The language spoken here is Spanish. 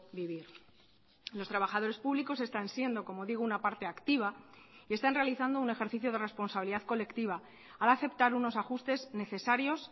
vivir los trabajadores públicos están siendo como digo una parte activa y están realizando un ejercicio de responsabilidad colectiva al aceptar unos ajustes necesarios